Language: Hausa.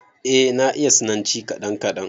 Eh, na iya sinanci kaɗan kaɗan